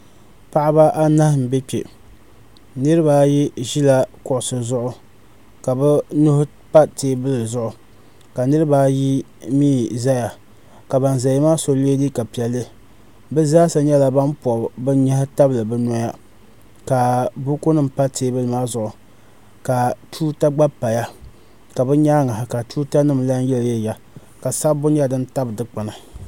Paɣaba anahi n bɛ kpɛ nirabaayi ʒila kuɣusi zuɣu ka bi nuhi pa teebuli zuɣu ka nirabaayi mii ʒɛya ka ban ʒɛya maa so yɛ liiga piɛlli bi zaa sa nyɛla ban pobi bi nyaɣa tabili bi noya la buku nim tam teebuli maa zuɣu ka tuuta gba paya ka bi nyaanga ka tuuta nim lahi yiliyili ya ka sabbu nyɛ din tabi dikpuni